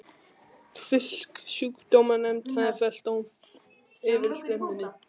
Fisksjúkdómanefnd hafði fellt dóm yfir stöð minni.